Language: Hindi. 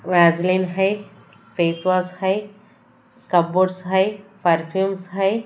वैसलीन है फेस वॉश है कामबोर्ड है परफ्यूम्स है।